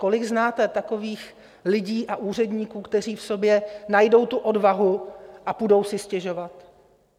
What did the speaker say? Kolik znáte takových lidí a úředníků, kteří v sobě najdou tu odvahu a půjdou si stěžovat?